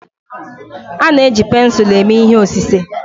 A na-eji pensụlu eme ihe osise.